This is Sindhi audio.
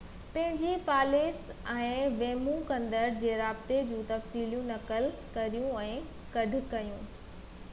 پنهنجي پاليس ۽ ويمو ڪندڙ جي رابطي جو تفصيلون نقل ڪريو ۽ گڏ کڻو